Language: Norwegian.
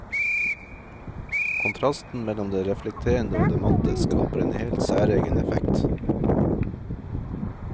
Kontrasten mellom det reflekterende og det matte, skaper en helt særegen effekt.